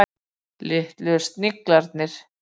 Litlu sigrarnir.